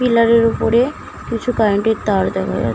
Pillar উপরে কিছু current -এর তার দেখা যাচ্ছে ।